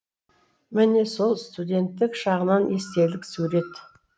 міне сол студенттік шағынан естелік сурет